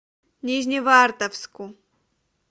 нижневартовску